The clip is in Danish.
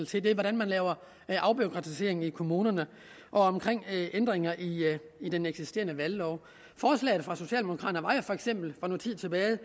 til hvordan man laver afbureaukratisering i kommunerne og ændringer i den eksisterende valglov forslaget fra socialdemokraterne for noget tid tilbage